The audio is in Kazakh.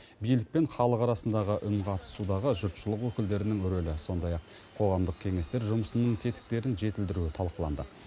билік пен халық арасындағы үнқатысудағы жұртшылық өкілдерінің рөлі сондай ақ қоғамдық кеңестер жұмысының тетіктерін жетілдіру талқыланды